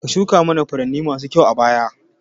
Ka shuka mana furanni masu kyau a baya